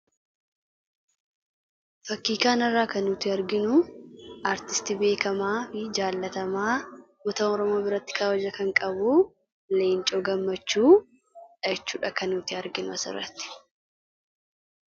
Fakkii kanarraa kan nuti arginu artistii beekamaa fi jaallatamaa uummata oromoo biratti kabaja kan qabu Leencoo Gammachuu jechuudha kan nuti arginu asirratti